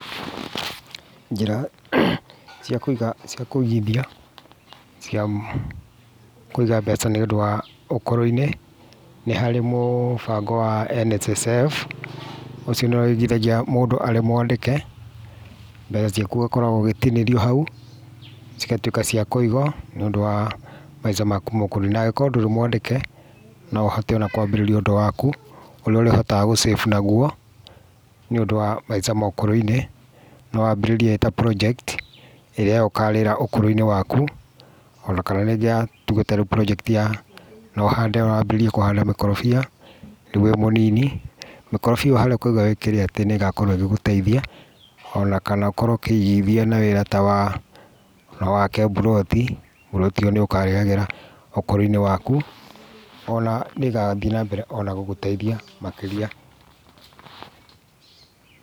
Njĩra cia kũigithia cia kũiga mbeca nĩ ũndũ wa ũkũrũ-inĩ nĩ harĩ mũbango wa NSSF, ũcio nĩguo ũigithagia mũndũ arĩ mwandĩke, mbeca ciaku ũgakoragwo ũgĩtinĩrio hau cigatuĩka cia kũigwo nĩ ũndũ wa maica maku ma ũkũrũ-inĩ, na angĩkorwo ndũrĩ mwandĩke, no ũhote ona kwambĩrĩria ũndũ waku ũrĩa ũrĩhotaga gũ save naguo, nĩũndũ wa maica ma ũkũrũ-inĩ, no wambĩrĩrie ĩ ta project ĩrĩa we ũkarĩra ũkũrũ-inĩ waku, o na kana rĩngĩ ya, tuge rĩu ta project ya no wambĩrĩrie kũhanda mĩkorobia rĩu wĩ mũnini, mĩkorobia ĩyo harĩa ũkauga nĩ wĩkĩre atĩ nĩ ĩgakorwo ĩgĩgũteithia, o na kana ũkorwo ũkĩigithia na wĩra ta wa, no wake mburoti ĩrĩa ũngiuga nĩ ũkarĩagĩra ũkũrũ-inĩ waku, o na nĩ ĩgathiĩ na mbere o na gũgũteithia makĩria.